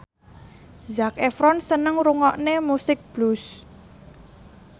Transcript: Zac Efron seneng ngrungokne musik blues